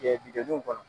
jɔliw kɔnɔ